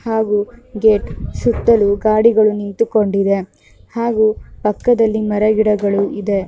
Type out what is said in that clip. ಹಾಗೂ ಗೇಟ್ ಸುತ್ತಲೂ ಗಾಡಿಗಳು ನಿಂತು ಕೊಂಡಿದೆ ಹಾಗೂ ಪಕ್ಕದಲ್ಲಿ ಮರ ಗಿಡಗಳು ಇದೆ .